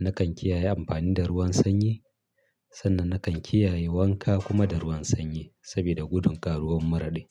Na kan kiyaye amfani da ruwan sanyi, sannan na kan kiyaye wanka kuma da ruwan sanyi sabida gudun karuwar mura din.